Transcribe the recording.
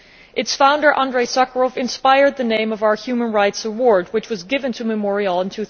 Its founder, Andrei Sakharov, inspired the name of our human rights award which was given to Memorial in